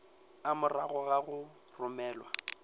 a morago ga go romelwa